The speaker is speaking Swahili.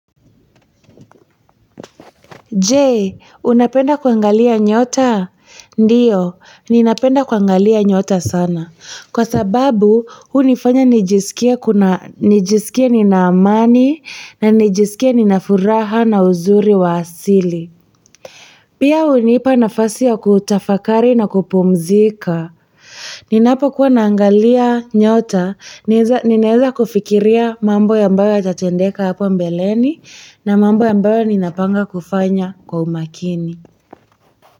Je, unapenda kuangalia nyota? Ndiyo ninapenda kuangalia nyota sana kwa sababu hunifanya nijisikie nina amani na nijisikie nina furaha na uzuri wa asili pia hunipa nafasi ya kutafakari na kupumzika. Ninapokuwa naangalia nyota, ninaeza kufikiria mambo ambayo yatatendeka hapa mbeleni na mambo ambayo ninapanga kufanya kwa umakini.